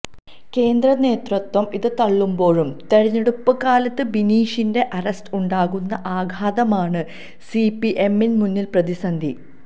കേന്ദ്ര നേതൃത്വം ഇത് തള്ളുമ്പോഴും തിരഞ്ഞെടുപ്പ് കാലത്ത് ബിനീഷിന്റെ അറസ്റ്റ് ഉണ്ടാക്കുന്ന ആഘാതമാണ് സിപിഎമ്മിന് മുന്നിലെ പ്രതിസന്ധി